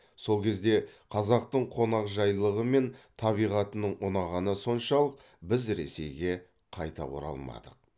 сол кезде қазақтың қонақжайлылығы мен табиғатының ұнағаны соншалық біз ресейге қайта оралмадық